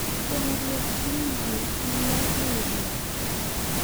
Kuong’ruok ni yie en mar riwruok.